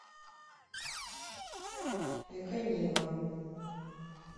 эконива